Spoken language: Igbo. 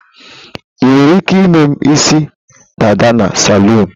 Ị nwere ike ime isi dada na salụn.